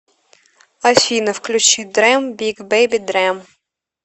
афина включи дрэм биг бэби дрэм